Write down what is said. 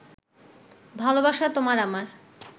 ভালোবাসা তোমার আমার